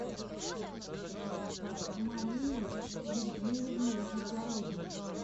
марии евгеньевны завгородней